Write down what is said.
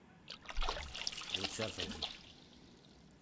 курчатову